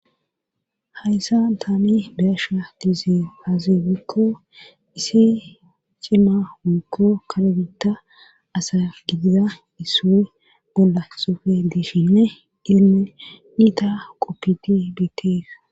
Hayssa ntaani beasha dize fazibikko issi cima huukko kalagita asagiiza issue bolla sufe dishine inne ni ta qoppiti beteega